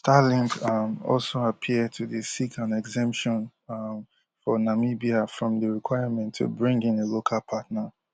starlink um also appear to dey seek an exemption um for namibia from di requirement to bring in a local partner